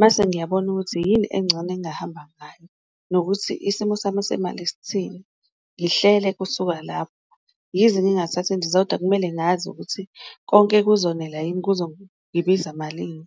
mase ngiyabona ukuthi yini engcono engahamba ngayo nokuthi isimo sami semali isithini. Ngihlele kusuka lapho, yize ngingathatha indiza kodwa kumele ngazi ukuthi konke kuzonela yini kuzongibiza malini.